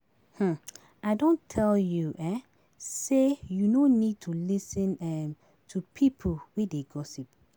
um I don tell you um sey you no need to lis ten um to pipo wey dey gossip.